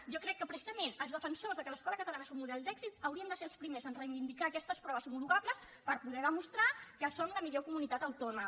jo crec que precisament els defensors de que l’escola catalana és un model d’èxit haurien de ser els primers en reivindicar aquestes proves homologables per poder demostrar que som la millor comunitat autònoma